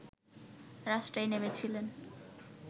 রাস্তায় নেমেছিলেন